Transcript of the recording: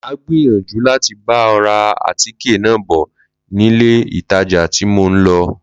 Mà á gbìyànjú láti bá ọ ra àtíkè náà bọ̀ nílé ìtajà tí mò ń lọ